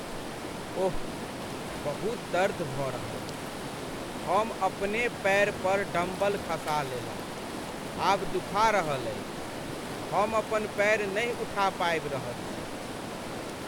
ओह! बहुत दर्द भऽ रहल अछि। हम अपने पैर पर डम्बल खसा लेलहुँ, आब दुखा रहल अछि। हम अपन पैर नहि उठा पाबि रहल छी।